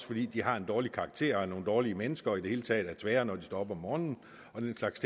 fordi de har en dårlig karakter og er nogle dårlige mennesker og i det hele taget er tvære når de står op om morgenen og den slags